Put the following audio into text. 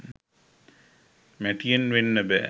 මැටියෙන් වෙන්න බෑ